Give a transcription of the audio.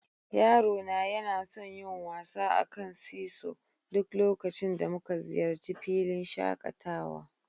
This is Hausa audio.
Yaro na yana son yin wasa a kan "seasaw" duk lokacin da muka ziyarci filin shakatawa.